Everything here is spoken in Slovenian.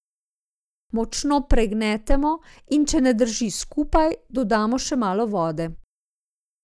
Močno pognetemo, in če ne drži skupaj, dodamo še malo vode.